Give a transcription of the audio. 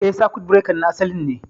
Eh, sakut birekan na asalin ne